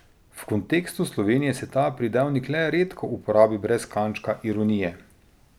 V kontekstu Slovenije se ta pridevnik le redko uporabi brez kančka ironije.